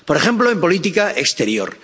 por ejemplo, en política exterior.